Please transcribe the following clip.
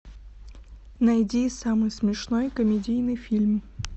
найди самый смешной комедийный фильм